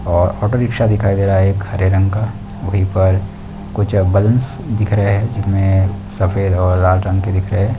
और auto rickshaw दिखाए दे रहा है एक हरे रंग का वहीं पर कुछ बैलून्स दिख रहे है जिनमे सफेद और लाल रंग के दिख रहे है।